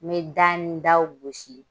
N bɛ da ni daw gosi.